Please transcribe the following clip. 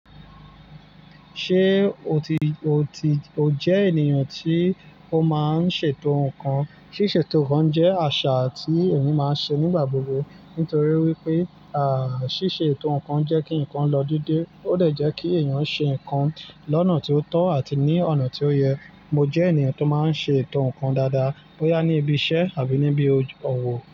Ṣé o ti, o ti, o jẹ́ ènìyàn tí ó máa ń ṣètò nǹkan? Ṣíṣe ètò kàn jẹ́ àṣà tí èmi máa ń ṣe nígbà gbogbo nítorí wípé, àà, ṣíṣe ètò ǹkan jẹ́ kí ǹkan lọ dédé, ó dẹ jẹ́ kí èèyàn ṣe ǹkan lọ́nà tí ó tọ́ àti ní ọ̀nà tí ó yẹ. Mo jẹ́ ènìyàn tó máa ń ṣe ètò ǹkan dáadáa bóyá ní ibi iṣẹ́ àbí níbi òwò.